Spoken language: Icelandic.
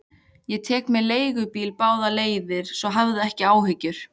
Ég tek mér leigubíl báðar leiðir, svo hafðu ekki áhyggjur.